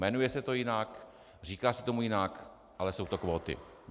Jmenuje se to jinak, říká se tomu jinak, ale jsou to kvóty.